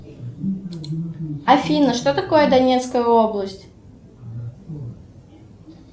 афина что такое донецкая область